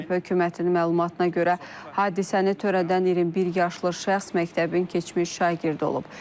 Hökumətin məlumatına görə hadisəni törədən 21 yaşlı şəxs məktəbin keçmiş şagirdi olub.